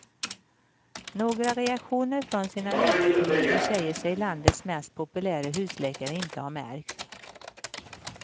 Några reaktioner från sina läkarkolleger säger sig landets mest populäre husläkare inte ha märkt.